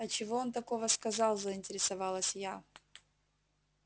а чего он такого сказал заинтересовалась я